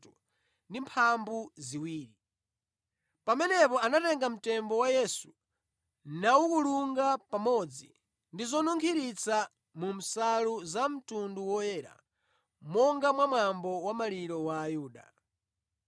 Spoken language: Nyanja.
Pamenepo anatenga mtembo wa Yesu nawukulunga pamodzi ndi zonunkhiritsa mu nsalu za mtundu woyera monga mwa mwambo wa maliro wa Ayuda.